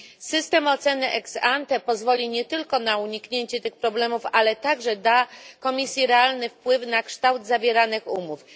System oceny ex ante pozwoli nie tylko na uniknięcie tych problemów, ale także da Komisji realny wpływ na kształt zawieranych umów.